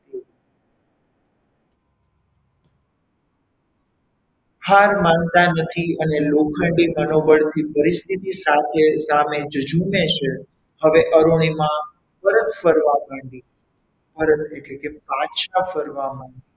હાર માનતા નથી અને લોખંડી મનોબળ થી પરિસ્થિતિ સામે જજુમે છે હવે અરુણિમા પરત ફરવા માંડી પરત એટલે કે પાછા ફરવા માંડી.